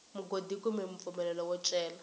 mugodi kumbe mpfumelelo wo cela